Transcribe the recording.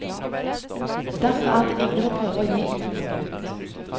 Derfor er det ingen som prøver å gi ut noe nytt.